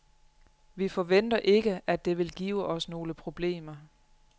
Vi forventer ikke, at det vil give os nogle problemer.